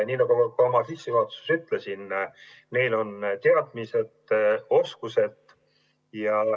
Nagu ma ka oma sissejuhatuses ütlesin, neil on teadmised-oskused.